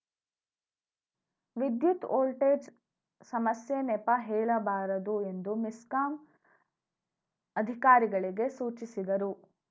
ವಿದ್ಯುತ್‌ ವೋಲ್ಟೇಜ್‌ ಸಮಸ್ಯೆ ನೆಪ ಹೇಳಬಾರದು ಎಂದು ಮೆಸ್ಕಾಂ ಅಧಿಕಾರಿಗಳಿಗೆ ಸೂಚಿಸಿದರು